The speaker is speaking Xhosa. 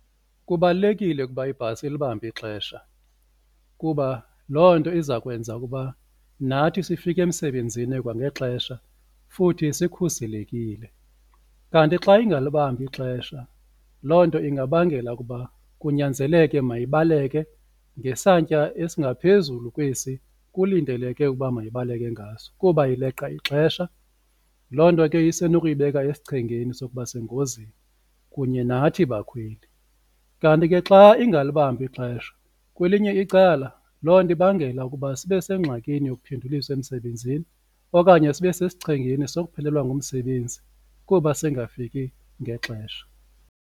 Kubalulekile ukuba ibhasi ilibambe ixesha kuba loo nto iza kwenza ukuba nathi sifike emsebenzini kwangexesha futhi sikhuselekile. Kanti xa ingalibambi ixesha loo nto ingabangela ukuba kunyanzeleke mayibaleke ngesantya esingaphezulu kwesi kulindeleke ukuba mayibaleke ngaso kuba ileqa ixesha, loo nto ke isenokuyibeka esichengeni sokuba sengozini kunye nathi bakhweli. Kanti ke xa ingalibambi ixesha kwelinye icala loo nto ibangela ukuba sibe sengxakini yokuphenduliswa emsebenzini okanye sibe sesichengeni sokuphelelwa ngumsebenzi kuba singafiki ngexesha.